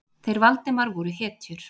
Þeir Valdimar voru hetjur.